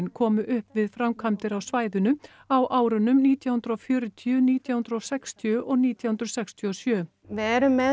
komu upp við framkvæmdir á svæðinu á árunum nítján hundruð og fjörutíu nítján hundruð og sextíu og nítján hundruð sextíu og sjö við erum með